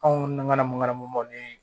Anw nangamana mun namuguma ni